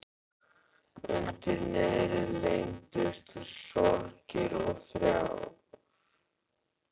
Undir niðri leyndust sorgir og þrár.